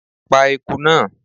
Pa ieku náà!